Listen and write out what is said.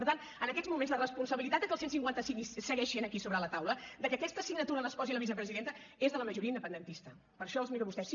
per tant en aquests moments la responsabilitat que el cent i cinquanta cinc segueixi aquí sobre la taula que en aquesta signatura s’hi posi la vicepresidenta és de la majoria independentista per això els miro a vostès